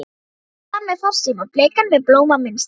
Mamma gaf mér farsíma, bleikan með blómamynstri.